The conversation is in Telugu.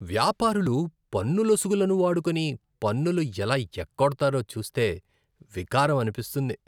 వ్యాపారులు పన్నులొసుగులను వాడుకొని పన్నులు ఎలా ఎగ్గొడతారో చూస్తే వికారం అనిపిస్తుంది.